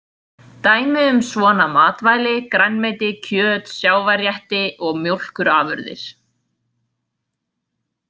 Dæmi um svona matvæli grænmeti, kjöt, sjávarrétti og mjólkurafurðir.